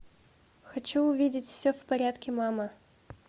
хочу увидеть все в порядке мама